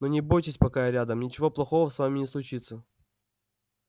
но не бойтесь пока я рядом ничего плохого с вами не случится